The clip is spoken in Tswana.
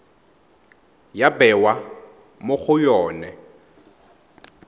ya bewa mo go yone